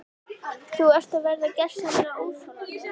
Þú ert að verða gersamlega óþolandi!